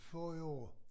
Forrige år